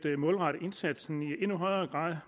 at målrette indsatsen